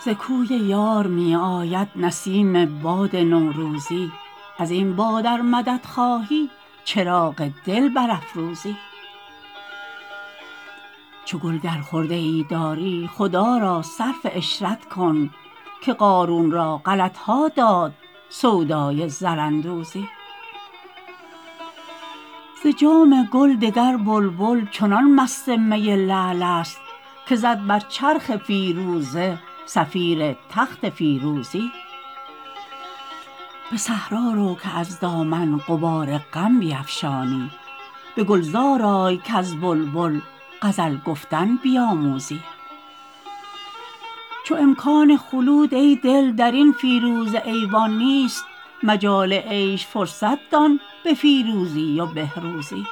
ز کوی یار می آید نسیم باد نوروزی از این باد ار مدد خواهی چراغ دل برافروزی چو گل گر خرده ای داری خدا را صرف عشرت کن که قارون را غلط ها داد سودای زراندوزی ز جام گل دگر بلبل چنان مست می لعل است که زد بر چرخ فیروزه صفیر تخت فیروزی به صحرا رو که از دامن غبار غم بیفشانی به گلزار آی کز بلبل غزل گفتن بیاموزی چو امکان خلود ای دل در این فیروزه ایوان نیست مجال عیش فرصت دان به فیروزی و بهروزی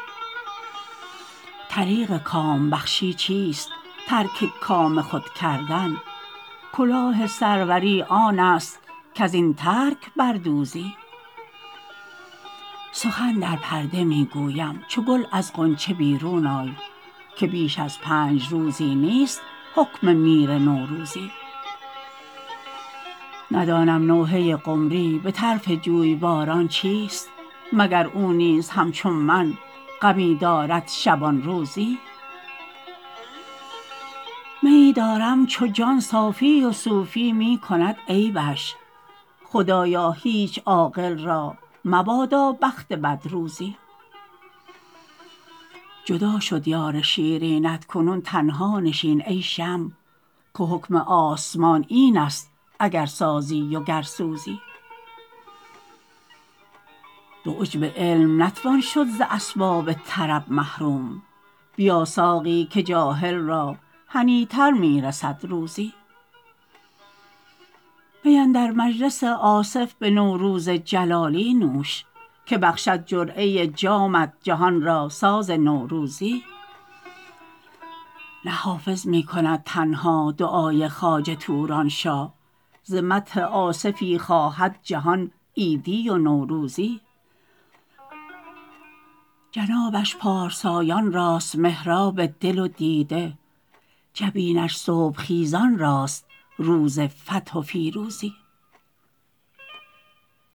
طریق کام بخشی چیست ترک کام خود کردن کلاه سروری آن است کز این ترک بر دوزی سخن در پرده می گویم چو گل از غنچه بیرون آی که بیش از پنج روزی نیست حکم میر نوروزی ندانم نوحه قمری به طرف جویباران چیست مگر او نیز همچون من غمی دارد شبان روزی میی دارم چو جان صافی و صوفی می کند عیبش خدایا هیچ عاقل را مبادا بخت بد روزی جدا شد یار شیرینت کنون تنها نشین ای شمع که حکم آسمان این است اگر سازی و گر سوزی به عجب علم نتوان شد ز اسباب طرب محروم بیا ساقی که جاهل را هنی تر می رسد روزی می اندر مجلس آصف به نوروز جلالی نوش که بخشد جرعه جامت جهان را ساز نوروزی نه حافظ می کند تنها دعای خواجه توران شاه ز مدح آصفی خواهد جهان عیدی و نوروزی جنابش پارسایان راست محراب دل و دیده جبینش صبح خیزان راست روز فتح و فیروزی